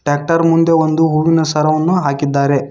Tractor ಮುಂದೆ ಒಂದು ಹೂವಿನ ಸರವನ್ನು ಹಾಕಿದ್ದಾರೆ.